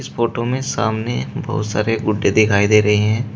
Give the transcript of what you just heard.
इस फोटो मे सामने बहुत सारे गुड्डे दिखाई दे रही हैं।